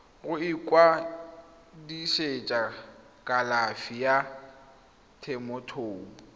go ikwadisetsa kalafi ya temothuo